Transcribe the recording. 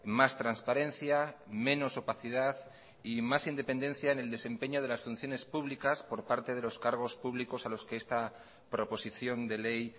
más transparencia menos opacidad y más independencia en el desempeño de las funciones públicas por parte de los cargos públicos a los que esta proposición de ley